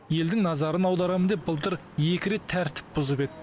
елдің назарын аударамын деп былтыр екі рет тәртіп бұзып еді